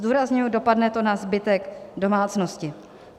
Zdůrazňuji, dopadne to na zbytek domácnosti.